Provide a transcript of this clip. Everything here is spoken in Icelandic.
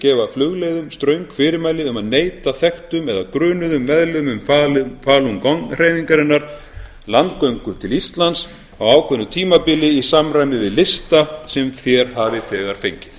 gefa flugleiðum ströng fyrirmæli um að neita þekktum eða grunuðum meðlimum falun gong hreyfingarinnar landgöngu til íslands á ákveðnu tímabili í samræmi við lista sem þér hafið þegar fengið